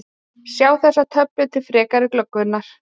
Sjá þessa töflu til frekari glöggvunar: